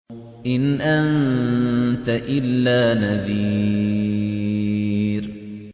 إِنْ أَنتَ إِلَّا نَذِيرٌ